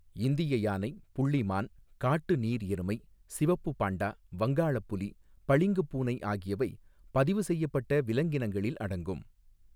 இந்திய யானை, புள்ளி மான், காட்டு நீர் எருமை, சிவப்பு பாண்டா, வங்காளப் புலி, பளிங்குப் பூனை ஆகியவை பதிவுசெய்யப்பட்ட விலங்கினங்களில் அடங்கும்.